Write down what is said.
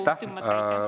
Aitäh!